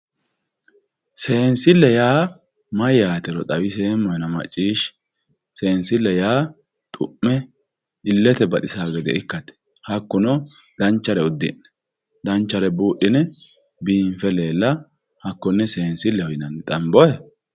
seensille yaa mayyaatero xawinseemmohena maciishshi seensille yaa xu'me illete baxisanno gede ikkate hakkuno danchare uddi'ne danchare buudhine biinfe leella hakkonne seensilleho yinanni xanbohe.